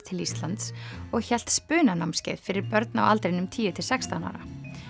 til Íslands og hélt fyrir börn á aldrinum tíu til sextán ára